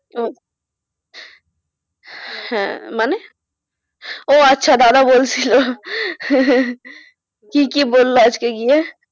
হ্যাঁ মানে? ও আচ্ছা দাদা বলছিল কি কি বলল আজকে গিয়ে?